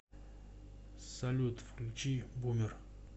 салют включи бумер